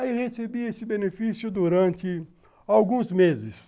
Aí recebia esse benefício durante alguns meses.